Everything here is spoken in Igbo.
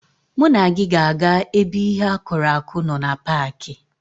Mụ na gị ga-aga ebe ihe akụrụ akụ nọ na paaki.